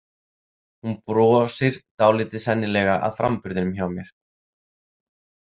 Hún brosir dálítið, sennilega að framburðinum hjá mér.